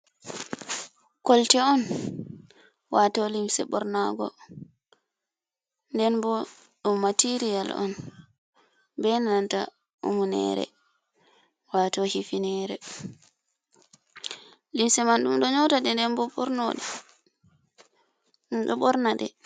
kolte on, wato limse ɓornago den bo ɗum material on ɓeɗo yota ɓonarɗe bei hifinere limse man, ɗum ɗo nyatade den bo ɓornade.